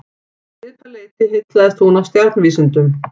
Um svipað leyti heillaðist hún af stjarnvísindum.